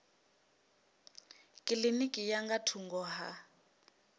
kilinikini ya nga thungo ha